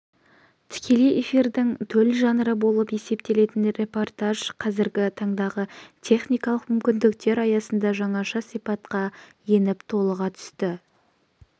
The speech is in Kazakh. тікелей эфирдің төл жанры болып есептелетін репортаж қазіргі тандағы техникалык мүмкіндіктер аясында жаңаша сипатқа еніп толыға түсті